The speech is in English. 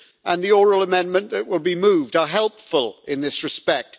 and the oral amendment that will be moved are helpful in this respect.